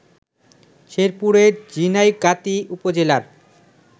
শেরপুরের ঝিনাইগাতি উপজেলার